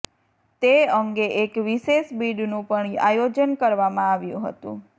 તે અંગે એક વિશેષ બીડનું પણ આયોજન કરવામાં આવ્યું હતું